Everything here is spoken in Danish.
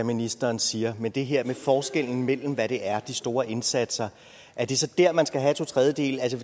ministeren siger men det her med forskellen mellem hvad det er de store indsatser er det så dér man skal have to tredjedele altså